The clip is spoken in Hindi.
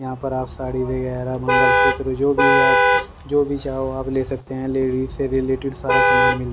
यहां पर आप साड़ी वगैरह मंगलसूत्र जो भी आप जो भी चाहो आप ले सकते हैं लेडीज से रिलेटेड सारा सामान मिल--